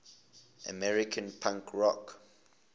american punk rock